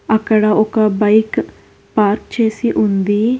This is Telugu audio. అక్కడ ఒక బైక్ పార్క్ చేసి ఉంది.